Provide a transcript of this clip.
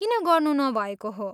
किन गर्नु नभएको हो?